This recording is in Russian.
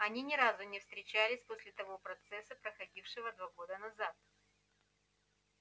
они ни разу не встречались после того процесса проходившего два года назад